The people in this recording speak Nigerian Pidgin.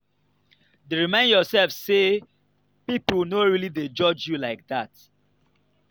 dey remind yourself say people no really dey judge you like that